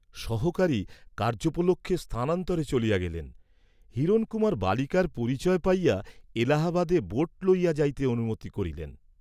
সহকারী কার্য্যোপলক্ষে স্থানান্তরে চলিয়া গেলেন, হিরণকুমার বালিকার পরিচয় পাইয়া এলাহাবাদে বোট লইয়া যাইতে অনুমতি করিলেন।